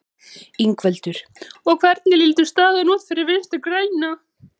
Ingveldur: Og hvernig lítur staðan út fyrir Vinstri-græna?